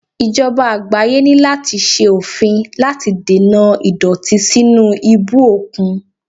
Ìjọba àgbáyé ní láti ṣe òfin láti dènà ìdọ̀tí sínú ibú òkun.